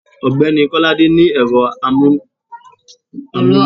ọgbẹni kolade ni ero amú íle tútú ni íyarà iṣẹ re